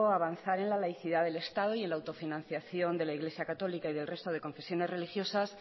avanzar en la laicidad del estado y en la autofinanciación de la iglesia católica y del resto de confesiones religiosas